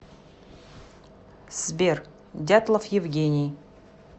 сбер дятлов евгений